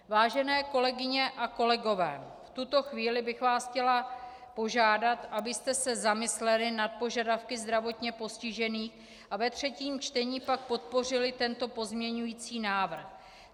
Vážené kolegyně a kolegové, v tuto chvíli bych vás chtěla požádat, abyste se zamysleli nad požadavky zdravotně postižených a ve třetím čtení pak podpořili tento pozměňovací návrh.